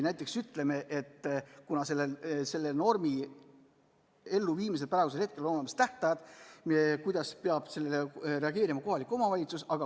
Näiteks, kuna selle normi elluviimisel on olemas tähtajad, siis kuidas peab sellele reageerima kohalik omavalitsus?